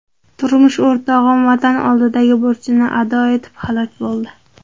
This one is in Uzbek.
Turmush o‘rtog‘im Vatan oldidagi burchini ado etib halok bo‘ldi.